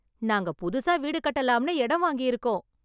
நாங்க புதுசா வீடு கட்டலாம்னு இடம் வாங்கிருக்கோம்